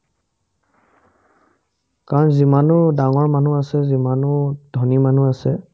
কাৰণ যিমানো ডাঙৰ মানুহ আছে যিমানো ধনী মানুহ আছে